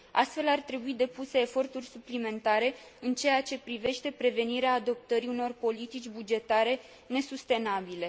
Astfel, ar trebui depuse eforturi suplimentare în ceea ce privește prevenirea adoptării unor politici bugetare nesustenabile.